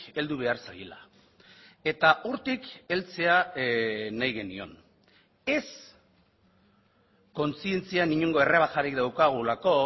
heldu behar zaiela eta hortik heltzea nahi genion ez kontzientzian inongo errebajarik daukagulako